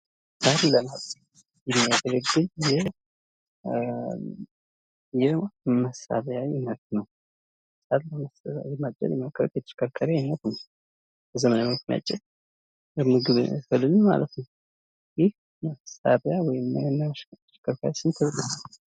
ሳር ለማጽጃ ይህ የሚያገለግል የመሳሪያ አይነት ነው። ሳር ለማጽጃ በመሸከርከር ለማጽጃ የሚያገለግል ነው። ይህ መሳሪያ ወይም ማሽን ስሙ ምን ይባላል?